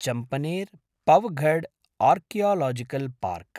चम्पनेर्-पवगढ् archaeological park